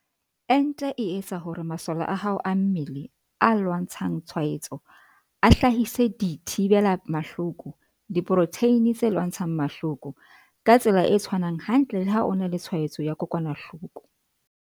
Ente e etsa hore masole a hao a mmele, a lwantshang tshwaetso, a hlahise dithi bela mahloko, diporotheine tse lwantshang mahloko, - ka tsela e tshwanang hantle le ha o na le tshwaetso ya kokwanahloko.